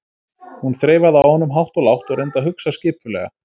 Hún þreifaði á honum hátt og lágt og reyndi að hugsa skipulega.